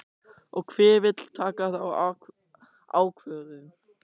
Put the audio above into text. Og hver vill taka þá ákvörðun?